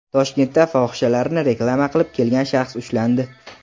Toshkentda fohishalarni reklama qilib kelgan shaxs ushlandi.